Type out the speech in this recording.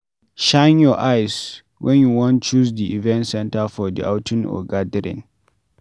Shine your eyes when you wan choose di event center for the outing or gathering